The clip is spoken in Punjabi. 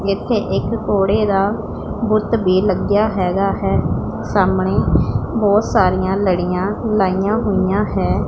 ਇਥੇ ਇੱਕ ਘੋੜੇ ਦਾ ਬੁੱਤ ਬੇ ਲੱਗਿਆ ਹੈਗਾ ਹੈ ਸਾਹਮਣੇ ਬਹੁਤ ਸਾਰੀਆਂ ਲੜੀਆਂ ਲਾਈਆਂ ਹੋਈਆਂ ਹੈ।